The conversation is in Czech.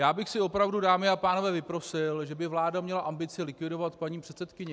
Já bych si opravdu, dámy a pánové, vyprosil, že by vláda měla ambice likvidovat paní předsedkyni.